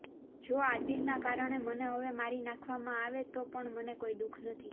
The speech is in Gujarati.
જો આદિલના કારણે મને હવે મારી નાખવામાં આવે તો પણ મને કોઈ દુખ નથી